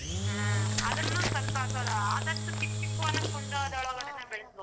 ಹ್ಮ್ ಆದೃನು ಸ್ವಲ್ಪ ಆದಷ್ಟು ಚಿಕ್ಕ್ ಚಿಕ್ಕ್ ಕುಂಡದೊಳಗನೆ ಬೆಳೆಸ್ಬೇಕು.